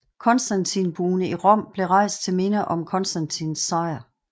Konstantinbuen i Rom blev rejst til minde om Konstantins sejr